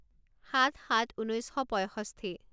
সাত সাত ঊনৈছ শ পঁইষষ্ঠি